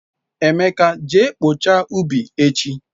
Emeka je kpochaa ubi echi